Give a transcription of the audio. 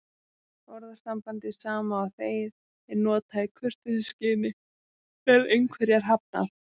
Orðasambandið sama og þegið er notað í kurteisisskyni þegar einhverju er hafnað.